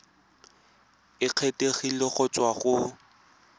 e kgethegileng go tswa go